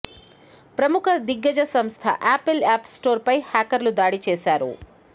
ప్రముఖ దిగ్గజ సంస్థ యాపిల్ యాప్ స్టోర్ పై హ్యాకర్లు దాడి చేశారు